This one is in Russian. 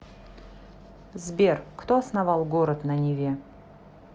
сбер кто основал город на неве